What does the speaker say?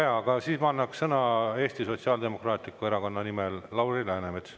Väga hea, siis ma annan sõna, Eesti Sotsiaaldemokraatliku Erakonna nimel Lauri Läänemets.